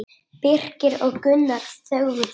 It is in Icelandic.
Birkir og Gunnar þögðu.